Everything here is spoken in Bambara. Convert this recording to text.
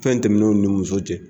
Fɛn tɛmɛnenw ni muso cɛ.